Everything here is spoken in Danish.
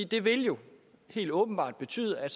det vil jo helt åbenbart betyde at